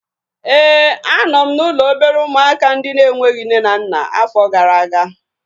Éè, a nọ m n'ụlọ obere ụmụaka ndị na-enweghị nne na nna afọ gara aga